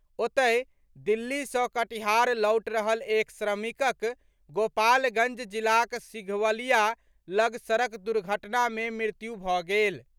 ओतहि, दिल्ली सँ कटिहार लौटि रहल एक श्रमिकक गोपालगंज जिलाक सिघवलिया लग सड़क दुर्घटना में मृत्यु भऽ गेल।